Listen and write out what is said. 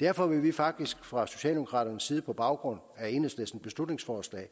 derfor vil vi faktisk fra socialdemokraternes side på baggrund af enhedslistens beslutningsforslag